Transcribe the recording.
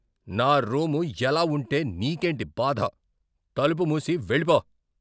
నా రూము ఎలా ఉంటే నీకేంటి బాధ? తలుపు మూసి వెళ్ళిపో.